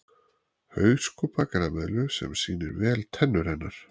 Hauskúpa grameðlu sem sýnir vel tennur hennar.